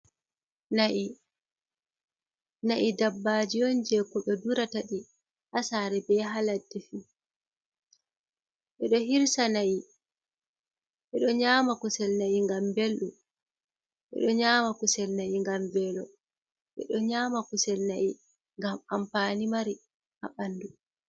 "Na'i" na'i dabbaji on je ko ɓe durata ɗii ha sare be haladde fu. Ɓeɗo hirsa Na'i, ɓeɗo nyama kusel na'i ngam belɗum, ɓeɗo nyama kusel na'i ngam velo, ɓeɗo nyama kusel na'i ngam ampani mari ha ɓandu.